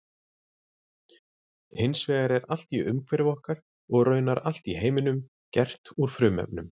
Hins vegar er allt í umhverfi okkar og raunar allt í heiminum gert úr frumefnum.